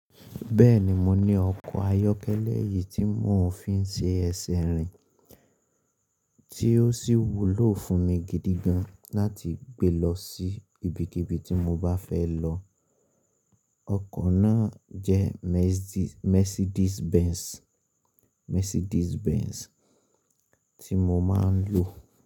Bẹ́ẹ̀ni, mo ní ọkọ̀ ayọ́kẹ́lẹ́ eyìí tí mò ń fi ń ṣe ẹ̀sẹ̀ rìn, tí ó sì wúlò fún mi gidi gan láti gbe lọ sí ibikíbi tí mo bá fẹ́ lọ. Ọkọ̀ náà jẹ́ Mercedes Benz tí mo máa ń lò.